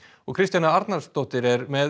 Kristjana Arnarsdóttir er með